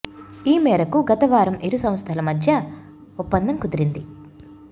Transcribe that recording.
ఈ మేరకు గత వారం ఇరు సంస్థల మధ్య ఒప్పందం కుదిరింది